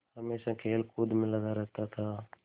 हमेशा खेलकूद में लगा रहता था